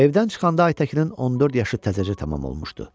Evdən çıxanda Aytəkinin 14 yaşı təzəcə tamam olmuşdu.